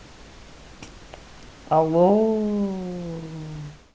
алло